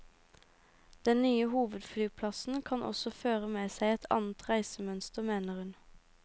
Den nye hovedflyplassen kan også føre med seg et annet reisemønster, mener hun.